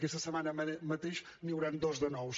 aquesta setmana mateix n’hi hauran dos de nous